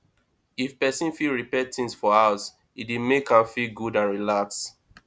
if person fit repair things for house e dey make am feel good and relaxed